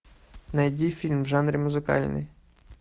найди фильм в жанре музыкальный